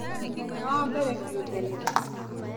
mũthenya wa mbere kĩũmbe nĩ rĩ